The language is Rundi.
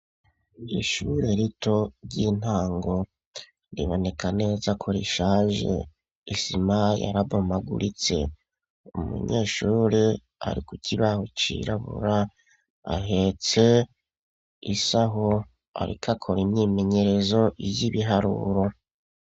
Ishure rito ry'intango riboneka neza ko rishaje, isima yarabomaguritse umunyeshure ari ku kibaho cirabura ahetse isaho ariko akora imyimenyerezo y'ibiharuro.